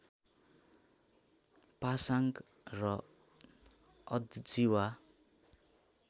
पासाङ्ग र अद्जिवा